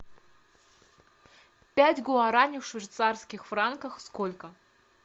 пять гуарани в швейцарских франках сколько